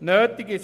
nötig sind.